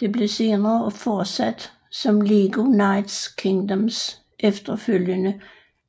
Det blev senere fortsat som LEGO Knights Kingdoms efterfølgende